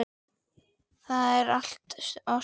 Það er allt og sumt.